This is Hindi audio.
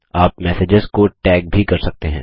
आप मैसेजेस को टैग भी कर सकते हैं